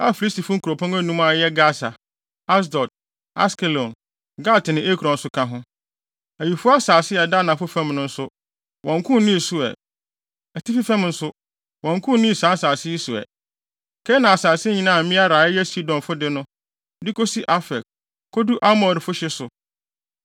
a Filistifo nkurɔpɔn anum a ɛyɛ Gasa, Asdod, Askelon, Gat ne Ekron nso ka ho. Awifo asase a ɛda anafo fam no nso, wɔnnko nnii so ɛ. Atifi fam nso, wɔnnko nnii saa nsase yi so ɛ; Kanaan asase nyinaa a Meara a ɛyɛ Sidonfo de no, de kosi Afek, kodu Amorifo hye so